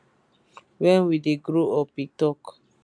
wen we dey grow up e tok